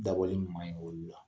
Dabɔli man ɲi olu la